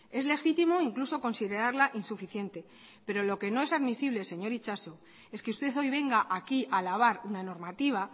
es legítimo incluso considerarla insuficiente pero lo que no es admisible señor itxaso es que usted hoy venga aquí a alabar una normativa